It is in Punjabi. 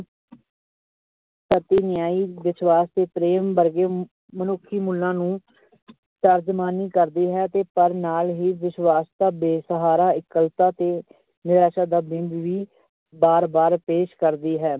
ਵਿਸਵਾਸ਼ ਤੇ ਪ੍ਰੇਮ ਵਰਗੇ ਮਨੁੱਖੀ ਮੁੱਲਾਂ ਨੂੰ ਤਰਜਮਾਨੀ ਕਰਦੇ ਹੈ ਤੇ ਨਾਲ ਹੀ ਬੇਸ਼ਹਾਰਾ, ਇਕੱਲਤਾ ਤੇ ਨਿਰਾਸ਼ਾ ਦਾ ਬਿੰਬ ਵੀ ਵਾਰ ਵਾਰ ਪੇਸ਼ ਕਰਦੀ ਹੈ।